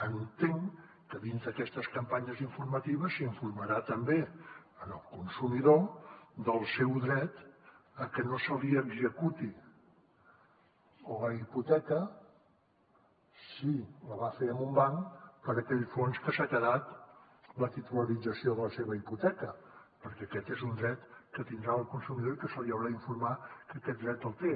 entenc que dins d’aquestes campanyes informatives s’informarà també el consumidor del seu dret a que no se li executi la hipoteca si la va fer amb un banc per aquell fons que s’ha quedat la titulització de la seva hipoteca perquè aquest és un dret que tindrà el consumidor i se l’haurà d’informar que aquest dret el té